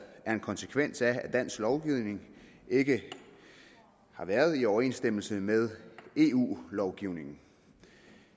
er en konsekvens af at dansk lovgivning ikke har været i overensstemmelse med eu lovgivningen